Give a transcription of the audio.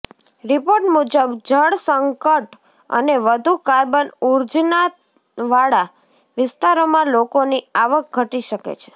report મુજબ જળસંકટ અને વધુ કાર્બન ઉત્સર્જનવાળા વિસ્તારોમાં લોકોની આવક ઘટી શકે છે